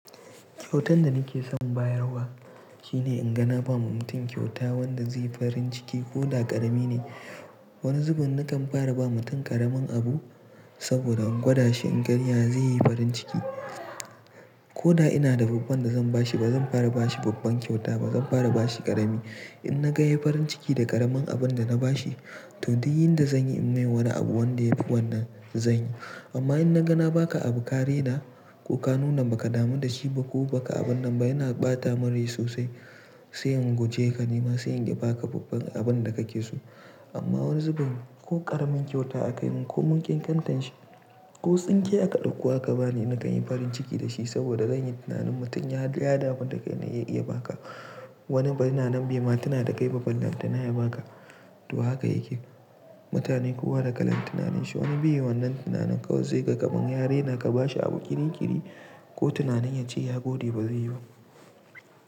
Kyautan da nake son bayarwa shine in ga na ba wa mutum kyauta wanda zai yi farin ciki ko da ƙarami ne. Wani zubin nakan fara ba mutum ƙaramin abu saboda in gwada shi in ga ya zai yi farin ciki. Ko da ina da babban da zan bashi ba zan fara bashi babban kyauta ba zan fara bashi ƙarami. In na ga ya yi farin ciki da ƙaramin abun da na bashi to duk yin da zanyi in mai wani abu wanda yafi wannan zan yi. Amma in na ga na ba ka abu ka raina ko ka nuna ba ka damu da shi ba ko ba ka abun nan ba yana ɓata mun rai sosai sai in guje ka nima sai in iya ba ka babban abun da ka ke so. Amma wani zubin ko ƙaramin kyauta aka mun ko mun ƙenƙantan shi ko tsinke aka ɗauko aka bani na kan yi farin ciki da shi saboda zanyi tunanin mutum yaga ya damu da kai na iya ba ka. Wani bari na nan bai ma tina da kai ba ballantana ya baka. To haka yake mutane kowa da kalan tunanin shi. Wani bai wannan tunanin kawai zai ga kaman ya raina ka bashi abu kirikiri ko tunanin ya ce ya gode ba zai yiwu.